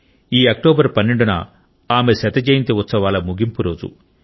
ఈ అక్టోబర్ 12న ఆమె శత జయంతి ఉత్సవాల ముగింపు రోజు